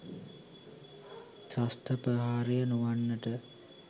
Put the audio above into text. ත්‍රස්ත ප්‍රහාරය නොවන්නට